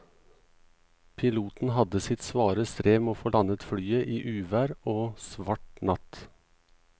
Piloten hadde sitt svare strev med å få landet flyet i uvær og svart natt.